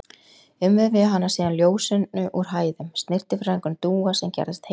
Umvefja hana síðan ljósinu úr hæðum, snyrtifræðingurinn Dúa sem gerðist heilari.